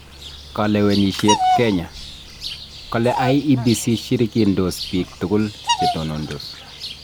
Kalewenisyet Kenya: Kale IEBC shirikindos biik tugul che tonondos